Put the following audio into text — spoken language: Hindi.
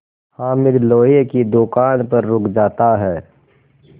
हामिद लोहे की दुकान पर रुक जाता है